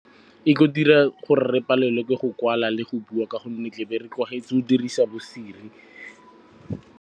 E tlo dira gore re palelwe ke go kwala le go bua ka gonne tle be re tlwaetse go dirisa bo-Siri.